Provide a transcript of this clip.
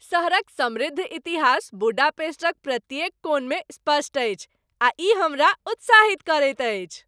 सहरक समृद्ध इतिहास बुडापेस्टक प्रत्येक कोनमे स्पष्ट अछि, आ ई हमरा उत्साहित करैत अछि।